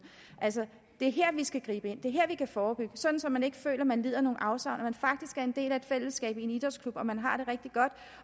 at det er her vi skal gribe ind det er her vi kan forebygge så så man ikke føler at man lider nogle afsavn man faktisk en del af et fællesskab i en idrætsklub